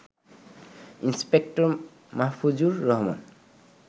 inspector Mahfuzur Rahman